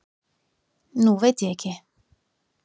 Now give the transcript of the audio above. Nú veit ég ekki.